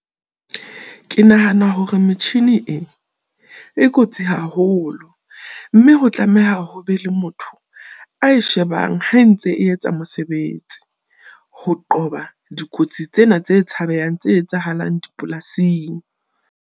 Ke nahana hore metjhini e e kotsi haholo mme ho tlameha ho be le motho a e shebang. Ha entse e etsa mosebetsi, ho qoba dikotsi tsena tse tshabehang tse etsahalang dipolasing.